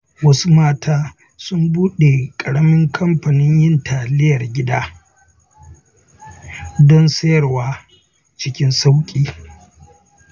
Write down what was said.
Wasu mata sun buɗe ƙaramin kamfanin yin taliyar gida, don sayarwa cikin sauƙi.